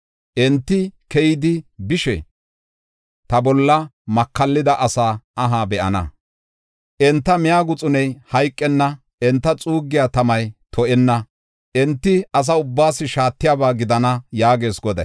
Enti keyidi bishe, ta bolla makallida asaa aha be7ana. Enta miya guxuney hayqenna; enta xuuggiya tamay to7enna; enti asa ubbaas shaatiyaba gidana” yaagees Goday.